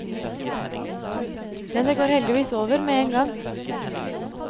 Men det går heldigvis over med én gang.